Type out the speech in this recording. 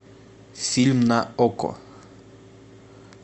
фильм на окко